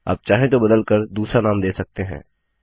आप चाहें तो बदल कर दूसरा नाम दे सकते हैं